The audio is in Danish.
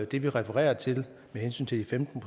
det vi refererer til med hensyn til de femten